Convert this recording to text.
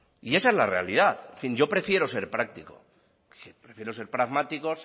y esa es la realidad en fin yo prefiero ser práctico prefiero ser pragmático